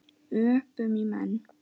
Öpum í menn.